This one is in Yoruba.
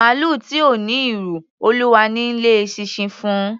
Màlúù tí ò n'írù, Ọlọ́run ni í lé eṣinṣin fún un.